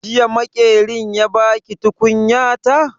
Jiya Maƙerin ya ba ki tukunyata?